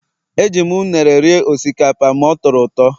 Eji m unere rie osikapa ma ọ tọrọ ụtọ